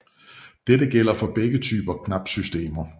Dette gælder for begge typer knapsystemer